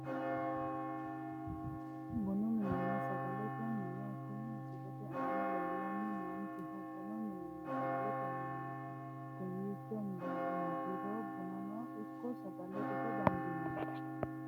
Bunu minenna sagalete mine kuni misilete aana leellanni noonkehu bunu minenna sagalete mineeti kowiicho marriro bunano ikko sagale ita dandiinanni